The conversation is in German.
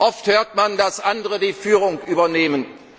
gewinnen. Oft hört man, dass andere die Führung übernehmen.